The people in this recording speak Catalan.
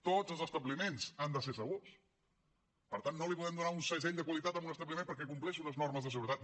tots els establiments han de ser segurs per tant no li podem donar un segell de qualitat a un establiment perquè compleix unes normes de seguretat